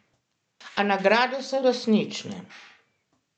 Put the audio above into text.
A nagrade so resnične.